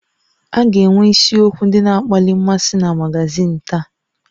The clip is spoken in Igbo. A ga-enwe isiokwu ndị na-akpali mmasị na magazin taa